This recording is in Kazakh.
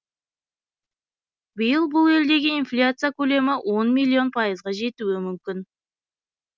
биыл бұл елдегі инфляция көлемі он миллион пайызға жетуі мүмкін